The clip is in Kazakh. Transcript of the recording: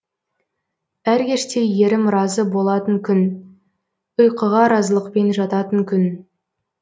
әр кеште ерім разы болатын күн ұйқыға разылықпен жататын күн